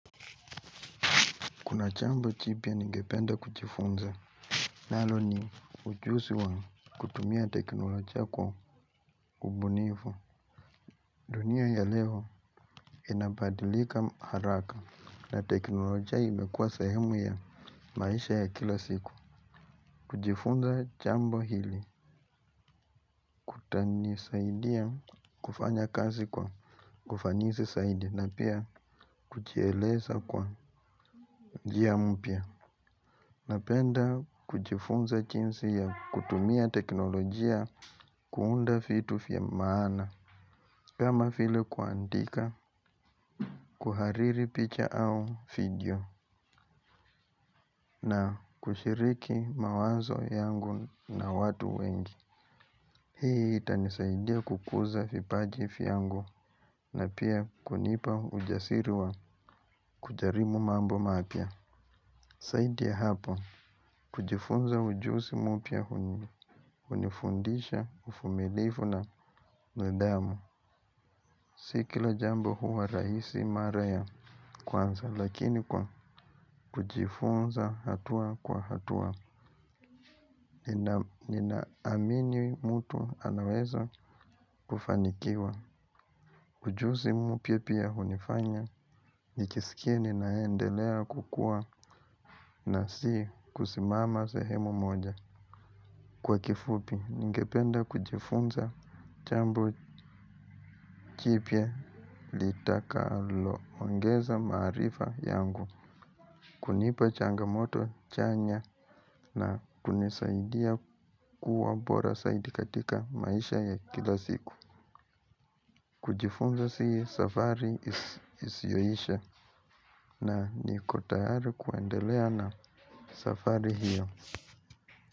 Kuna jambo jipya ningependa kujifunza. Nalo ni ujuzi wa kutumia teknolojia kwa ubunifu. Dunia ya leo inabadilika haraka na teknolojia imekuwa sehemu ya maisha ya kila siku. Kuchifunza chambo hili. Kutanisaidi ya kufanya kazi kwa ufanisi saidi na pia kujieleza kwa njia mpya. Napenda kujifunza jinsi ya kutumia teknolojia kuunda vitu vya maana kama vile kuandika kuhariri picha au video na kushiriki mawazo yangu na watu wengi hii itanisaidia kukuza vipaji vyangu na pia kunipa ujasiri wa kujaribu mambo mapya. Zaidi ya hapo, kujifunza ujuzi mupya hunifundisha uvumilivu na nidhamu. Si kila jambo huwa rahisi mara ya kwanza, lakini kwa kujifunza hatua kwa hatua. Ninaamini mtu anaweza kufanikiwa. Ujuzi mpya pia hunifanya, nijisikie ninaendelea kukua na si kusimama sehemu moja. Kwa kifupi, ningependa kujifunza jambo jipya litakaloongeza maarifa yangu, kunipa changamoto chanya na kunisaidia kuwa bora zaidi katika maisha ya kila siku. Kujifunza si safari isiyoisha na niko tayari kuendelea na safari hiyo.